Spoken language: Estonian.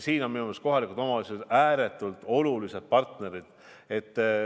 Siin on minu arust kohalikud omavalitsused ääretult olulised partnerid.